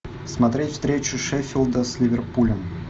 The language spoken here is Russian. смотреть встречу шеффилда с ливерпулем